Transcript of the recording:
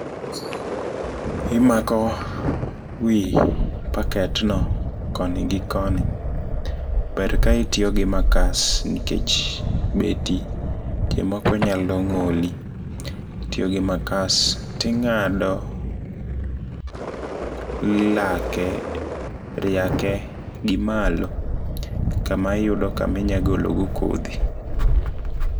Imako wi packet no koni gi koni, ber ka itiyogi makas nikech beti sechemoko nyalo ng'oli. Itiyogi makas tinga'do lake riake gi malo kama iyudo kama inya gologo kodhi.